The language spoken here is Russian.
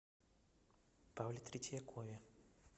павле третьякове